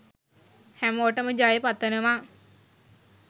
හැමෝටම ජය පතනවා